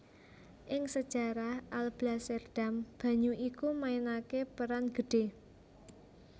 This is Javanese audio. Ing sejarah Alblasserdam banyu iku mainaké peran gedhé